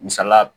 Misalila